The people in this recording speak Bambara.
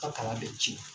A kala bɛ ci